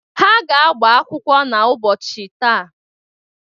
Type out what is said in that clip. Ha ga-agba akwụkwọ n'ụbọọchi taa.